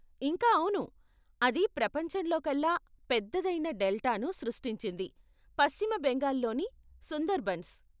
ఇంకా అవును, అది ప్రపంచంలోకల్లా పెద్దదైన డెల్టాను సృష్టించింది, పశ్చిమ బెంగాల్ లోని సుందర్బన్స్.